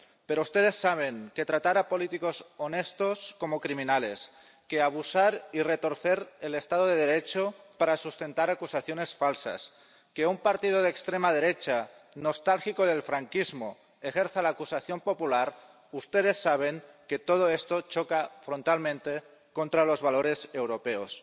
Pero ustedes saben que tratar a políticos honestos como criminales, que abusar y retorcer el Estado de Derecho para sustentar acusaciones falsas, que un partido de extrema derecha nostálgico del franquismo ejerza la acusación popular, ustedes saben que todo esto choca frontalmente contra los valores europeos.